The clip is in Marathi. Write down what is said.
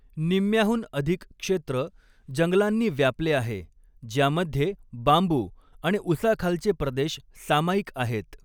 निम्म्याहून अधिक क्षेत्र जंगलांनी व्यापले आहे, ज्यामध्ये बांबू आणि उसाखालचे प्रदेश सामाईक आहेत.